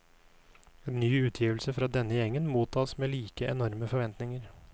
En ny utgivelse fra denne gjengen mottas med like enorme forventninger.